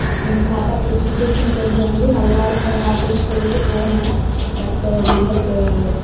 பாப்பாக்கு education கொஞ்சம் வந்து நல்லா இருக்கும் அபிடின்னு சொல்லிட்டு போனோம் but நம்மளுக்கு